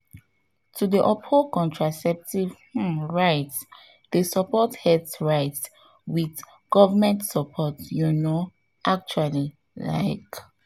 to to dey uphold contraceptive rights dey support health rights through inclusive health programs um ah.